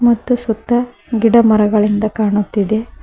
ಮತ್ತು ಸುತ್ತ ಗಿಡ ಮರಗಳಿಂದ ಕಾಣುತ್ತಿದೆ.